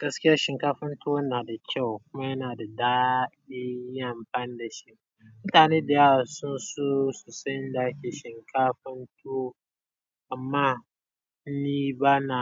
Gaskiya shinkafan tuwon na da kyau kuma yana da daɗi yin amfani da shi. Mutane da yawa sun so su san yanda ake shinkafan tuwo amma ni ba na,